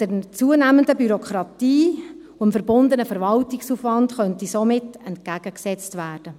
Der zunehmenden Bürokratie und dem damit verbundenen Verwaltungsaufwand könnte somit entgegengewirkt werden.